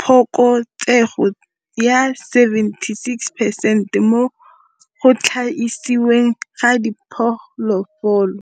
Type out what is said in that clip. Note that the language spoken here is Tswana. phokotsego ya 76 percent mo go thaisiweng ga diphologolo.